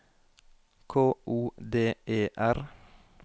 K O D E R